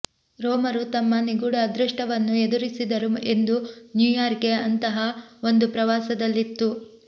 ರೋಮರು ತಮ್ಮ ನಿಗೂಢ ಅದೃಷ್ಟವನ್ನು ಎದುರಿಸಿದರು ಎಂದು ನ್ಯೂಯಾರ್ಕ್ಗೆ ಅಂತಹ ಒಂದು ಪ್ರವಾಸದಲ್ಲಿತ್ತು